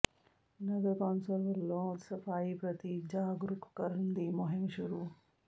ਨਗਰ council ਵਲੋਂ ਸਫ਼ਾਈ ਪ੍ਰਤੀ ਜਾਗਰੂਕ ਕਰਨ ਦੀ ਮੁਹਿੰਮ ਸ਼ੁਰੂ